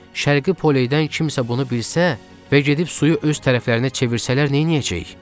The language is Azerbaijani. Şərqi Poleydən kimsə bunu bilsə və gedib suyu öz tərəflərinə çevirsələr, neyniyəcəyik?